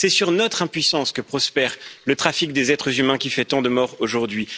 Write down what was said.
C'est sur notre impuissance que prospère le trafic des êtres humains qui fait tant de morts aujourd'hui.